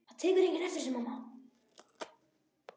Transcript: Það tekur enginn eftir þessu, mamma.